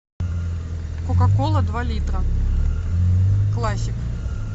кока кола два литра классик